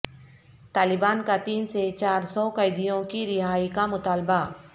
طالبان کا تین سے چار سو قیدیوں کی رہائی کا مطالبہ